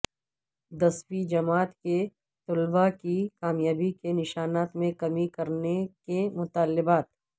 دسویں جماعت کے طلبہ کی کامیابی کے نشانات میں کمی کرنے کے مطالبات